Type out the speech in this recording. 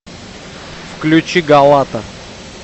включи галата